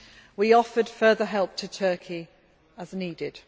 We offered further help to Turkey, as needed.